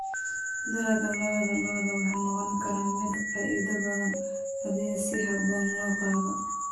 Dalagga lo'da lo'da wuxuu noqon karaa mid faa'iido badan haddii si habboon loo daaqo.